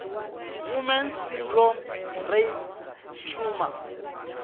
woman s syndrome rape trauma